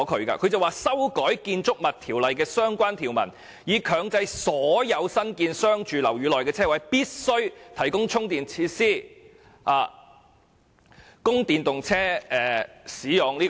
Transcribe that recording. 他建議"修改《建築物條例》的相關條文，以強制所有新建之商住樓宇內的車位，必須提供充電設施，供電動車充電之用"。